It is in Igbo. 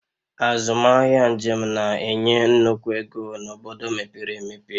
Azụmahịa njem na-enye nnukwu ego n'obodo mepere emepe